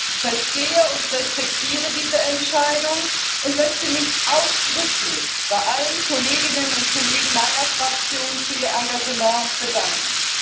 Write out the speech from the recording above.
Ich verstehe und respektiere diese Entscheidung und möchte mich ausdrücklich bei allen Kolleginnen und Kollegen meiner Fraktion für ihr Engagement bedanken.